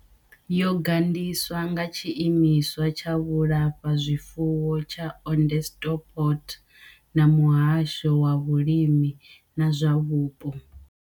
Yo gandiswa nga tshiimiswa tsha vhulafhazwifuwo tsha Onderstepoort na muhasho wa vhulimi na zwa Vhupo.